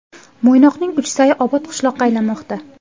Mo‘ynoqning Uchsayi obod qishloqqa aylanmoqda.